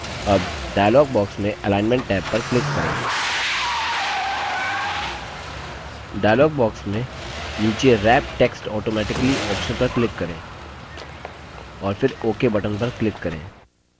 अब dialog box में alignment tab पर क्लिक करें डायलॉग बॉक्स में नीचे wrap text automatically ऑप्शन पर क्लिक करें और फिर ok बटन पर क्लिक करें